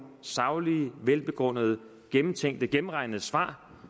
saglige og velbegrundede og gennemtænkte og gennemregnede svar